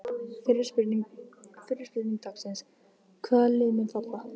Fyrri spurning dagsins: Hvaða lið munu falla?